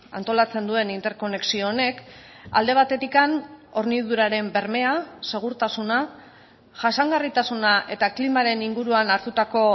antolatzen duen interkonexio honek alde batetik horniduraren bermea segurtasuna jasangarritasuna eta klimaren inguruan hartutako